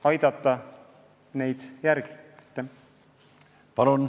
Palun, Laine Randjärv!